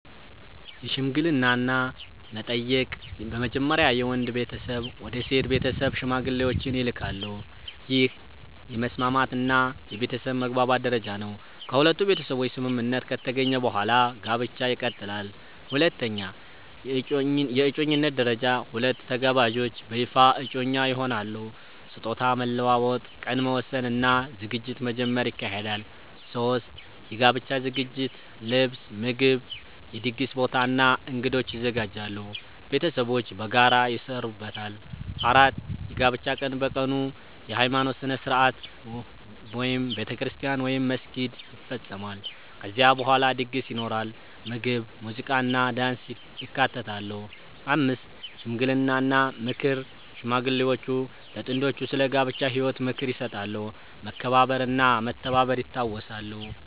1) የሽምግልና እና መጠየቅ በመጀመሪያ የወንድ ቤተሰብ ወደ ሴት ቤተሰብ ሽማግሌዎችን ይልካሉ። ይህ የመስማማት እና የቤተሰብ መግባባት ደረጃ ነው። ከሁለቱ ቤተሰቦች ስምምነት ከተገኘ በኋላ ጋብቻ ይቀጥላል። 2) የእጮኝነት ደረጃ ሁለቱ ተጋባዦች በይፋ እጮኛ ይሆናሉ። ስጦታ መለዋወጥ፣ ቀን መወሰን እና ዝግጅት መጀመር ይካሄዳል። 3) የጋብቻ ዝግጅት ልብስ፣ ምግብ፣ የድግስ ቦታ እና እንግዶች ይዘጋጃሉ። ቤተሰቦች በጋራ ይሰሩበታል። 4) የጋብቻ ቀን በቀኑ የሃይማኖት ሥነ ሥርዓት (ቤተክርስቲያን ወይም መስጊድ) ይፈጸማል። ከዚያ በኋላ ድግስ ይኖራል፣ ምግብ፣ ሙዚቃ እና ዳንስ ይካተታሉ። 5) ሽምግልና እና ምክር ሽማግሌዎች ለጥንዶቹ ስለ ጋብቻ ህይወት ምክር ይሰጣሉ፣ መከባበር እና መተባበር ይታወሳሉ።